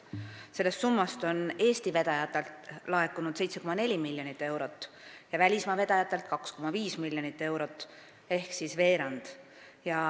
Sellest summast on Eesti vedajatelt laekunud 7,4 miljonit eurot ja välismaa vedajatelt 2,5 miljonit eurot ehk umbes veerand.